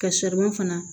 Ka fana